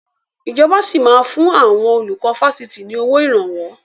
Ìjọba sì máa fun àwọn olùkọ́ Fásitì ni owó Ìrànwọ́